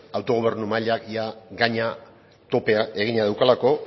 autogobernu mailak ia gaina topea egina daukalako